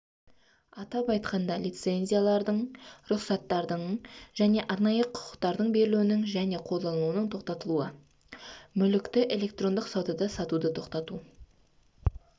атап айтқанда лицензиялардың рұқсаттардың және арнайы құқықтардың берілуінің және қолданылуының тоқтатылуы мүлікті электрондық саудада сатуды тоқтату